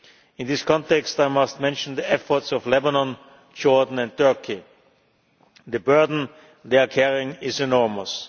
In this context I must mention the efforts of Lebanon, Jordan and Turkey the burden they are carrying is enormous.